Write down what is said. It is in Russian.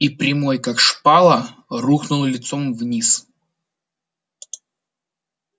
и прямой как шпала рухнул лицом вниз